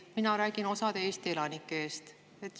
Mina räägin osa Eesti elanike eest.